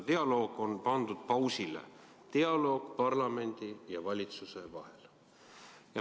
Dialoog on pandud pausile – dialoog parlamendi ja valitsuse vahel.